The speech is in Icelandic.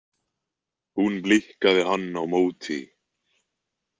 Hún blikkaði hann á móti.